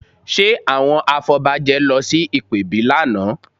Ṣe àwọn afọbajẹ lọ sí ìpèbí lánàá?